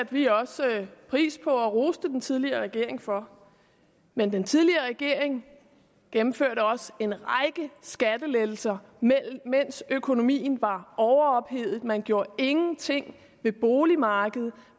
vi også pris på og roste den tidligere regering for men den tidligere regering gennemførte også en række skattelettelser mens økonomien var overophedet man gjorde ingenting ved boligmarkedet